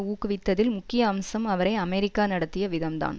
ஊக்குவித்ததில் முக்கிய அம்சம் அவரை அமெரிக்கா நடத்திய விதம்தான்